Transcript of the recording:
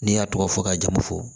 N'i y'a tɔgɔ fɔ ka jamu fɔ